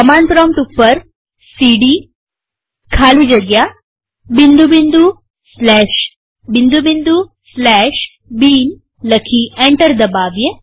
command prompt ઉપર cd ખાલી જગ્યા bin લખી અને એન્ટર દબાવીએ